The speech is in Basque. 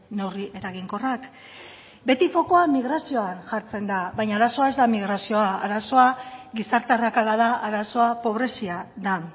neurri eraginkorrak beti fokua migrazioan jartzen da baina arazoa ez da migrazioa arazoa gizarte arrakala da arazoa pobrezia da